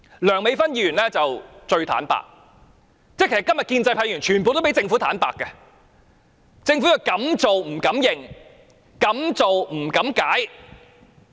梁美芬議員最坦白，今天建制派議員全部都比政府坦白，政府敢做不敢承認，敢做不敢解釋。